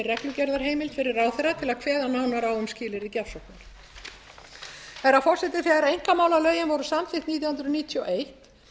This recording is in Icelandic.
reglugerðarheimild fyrir ráðherra til að kveða nánar á um skilyrði gjafsóknar herra forseti þegar einkamálalögin voru samþykkt nítján hundruð níutíu og eitt